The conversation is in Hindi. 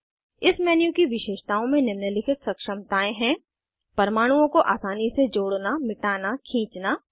इस मेन्यू की विशेषताओं में निम्नलिखित सक्षमतायें हैं परमाणुओं को आसानी से जोड़ना मिटाना खींचना